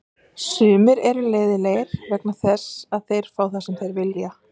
Sumir eru leiðinlegir vegna þess að þá fá þeir það sem þeir vilja.